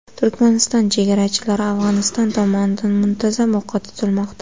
Turkmaniston chegarachilari Afg‘oniston tomonidan muntazam o‘qqa tutilmoqda.